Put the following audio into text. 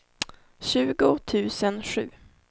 tjugo tusen sju